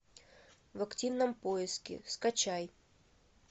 в активном поиске скачай